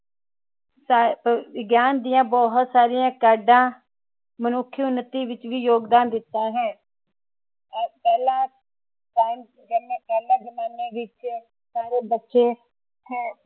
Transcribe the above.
ਵਿਗਿਆਨ ਦੀਆਂ ਬਹੁਤ ਸਾਰੀਆਂ ਕਾਢਾਂ ਮਨੁੱਖੀ ਉਨਤੀ ਵਿਚ ਵੀ ਯੋਗਦਾਨ ਦਿੱਤਾ ਹੈ ਪਹਲੇ ਜਮਾਨੇ ਵਿਚ ਸਾਰੇ ਬੱਚੇ